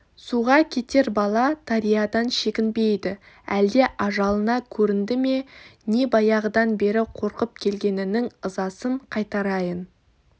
суға кетер бала дариядан шегінбейді әлде ажалына көрінді ме не баяғыдан бері қорқып келгенінің ызасын қайтарайын